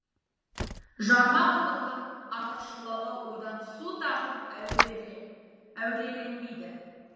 жарма құдықтың артықшылығы одан су тартып әуреленбейді